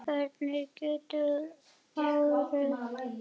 Hver getur róið án ára?